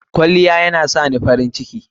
Kwalliya yana sani farin ciki.